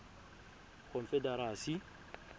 confederacy